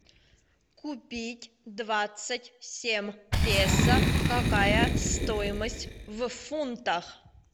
купить двадцать семь песо какая стоимость в фунтах